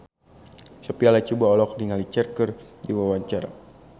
Sophia Latjuba olohok ningali Cher keur diwawancara